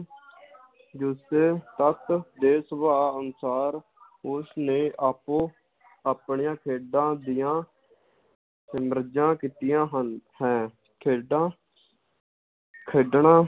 ਤਕ ਦੇ ਸੁਭਾਅ ਅਨੁਸਾਰ ਉਸ ਨੇ ਆਪੋ ਆਪਣੀਆਂ ਖੇਡਾਂ ਦੀਆਂ ਸਿਮਰਜਾਂ ਕੀਤੀਆਂ ਹਨ ਹੈ ਖੇਡਾਂ ਖੇਡਣਾਂ